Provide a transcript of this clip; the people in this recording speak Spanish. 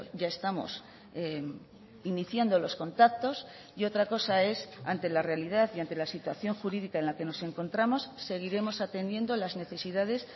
ya estamos iniciando los contactos y otra cosa es ante la realidad y ante la situación jurídica en la que nos encontramos seguiremos atendiendo las necesidades